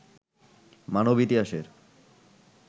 মানব ইতিহাসের